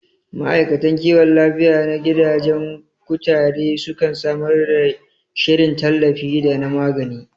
Ma'aikatan kiwon lafiya na gidajen kutare sukan samar da shirin tallafi da na magani